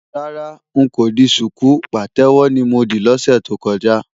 Rárá,n kò di ṣùkú, pàtẹ́wọ́ ni mo dì lọ́sẹ̀ tó kọjá.